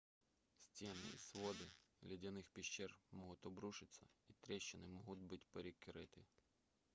стены и своды ледяных пещер могут обрушиться и трещины могут быть перекрыты